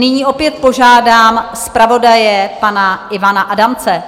Nyní opět požádám zpravodaje pana Ivana Adamce.